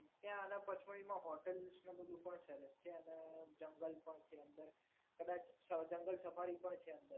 ત્યાં પંચમઢીમાં હોટલ્સ ને બધુ પણ છે અને જંગલ પણ છે અંદર કદાચ જંગલ સફારી પણ છે.